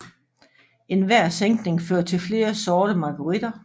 Enhver sænkning fører til flere sorte margueritter